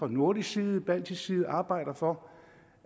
nordisk side baltisk side arbejder for